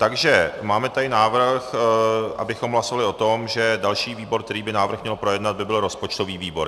Takže máme tady návrh, abychom hlasovali o tom, že další výbor, který by návrh měl projednat, by byl rozpočtový výbor.